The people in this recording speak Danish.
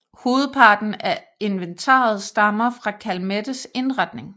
Hovedparten af inventaret stammer fra Calmettes indretning